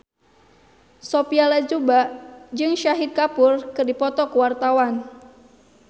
Sophia Latjuba jeung Shahid Kapoor keur dipoto ku wartawan